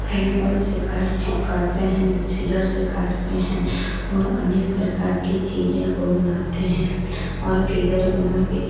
फेविकोल से कार्ड चिपकाते हैं। सीज़र्स से काटते है और अनेक प्रकार की चीजें को बनाते हैं और फिगर बना के चिप --